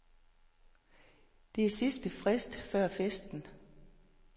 Det er sidste frist før festen.